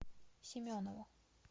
семенову